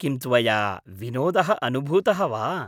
किं त्वया विनोदः अनुभूतः वा?